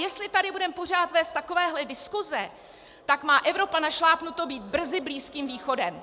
Jestli tady budeme pořád vést takovéhle diskuze, tak má Evropa našlápnuto být brzy Blízkým východem!